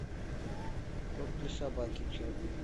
корм для собаки чаппи